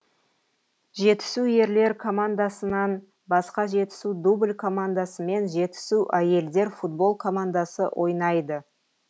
жетісу ерлер командасынан басқа жетісу дубль командасы мен жетісу әйелдер футбол командасы ойнайды